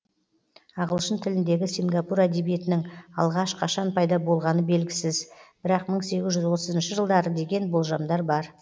ағылшын тіліндегі сингапур әдебиетінің алғаш қашан пайда болғаны белгісіз бірақ мың сегіз жүз отызыншы жылдары деген болжамдар бар